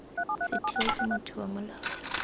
setheo ke motho wa molao